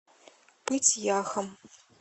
пыть яхом